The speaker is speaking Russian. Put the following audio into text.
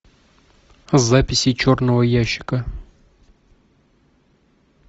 записи черного ящика